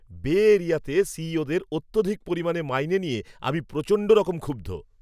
বে এরিয়াতে সিইওদের অত্যধিক পরিমাণে মাইনে নিয়ে আমি প্রচণ্ডরকম ক্ষুব্ধ।